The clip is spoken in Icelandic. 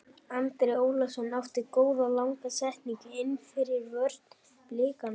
Andri Ólafsson átti góða langa sendingu innfyrir vörn Blikana.